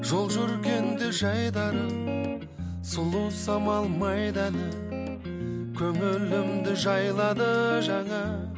жол жүргенде жайдары сұлу самал майда әні көңілімді жайлады жаңа